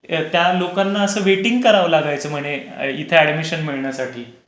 त्या लोकांना असं वेटिंग करावं लागायचं म्हणे इथे अडमिशन मिळण्यासाठी.